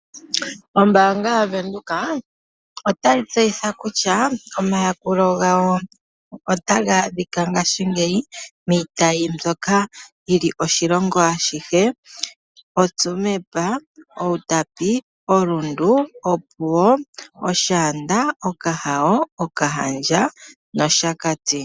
Ombaanga yaVenduka otayi tseyitha kutya, omayakulo gawo otaga adhika ngaashingeyi miitayi mbyoka yi li oshilongo ashihe, oTsumeb, Outapi, oRundu, Opuwo, Oshaanda, Okahao, Okahandja nOshakati.